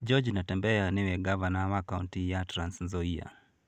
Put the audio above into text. George Natembeya nĩwe ngavana wa kaũntĩ ya Trans Nzoia.